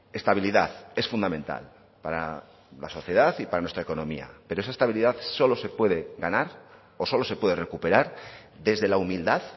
estabilidad es fundamental para la sociedad y para nuestra economía pero esa estabilidad solo se puede ganar o solo se puede recuperar desde la humildad